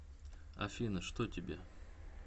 афина что тебе